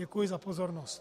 Děkuji za pozornost.